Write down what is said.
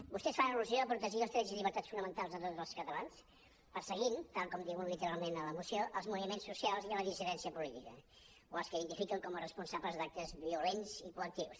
vostès fan al·lusió a protegir els drets i llibertats fonamentals de tots els catalans perseguint tal com diuen literalment a la moció els moviments socials i la dissidèn·cia política o els que identifiquen com a responsables d’actes violents i coactius